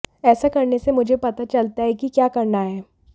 ऐसा करने से मुझे पता चलता है कि क्या करना है